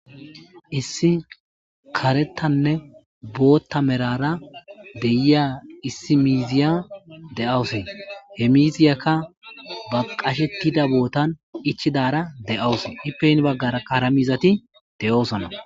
issi karettanne bootta merara deyiya issi miiziya de7awusi he miziyakka baqashettida bootan ichidara de7awus hipeyn baggara karamizati de7oosona